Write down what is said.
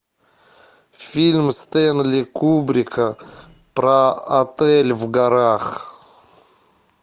фильм стэнли кубрика про отель в горах